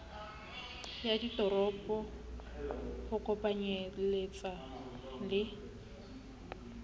ya ditoropo ho kopanyeletsa le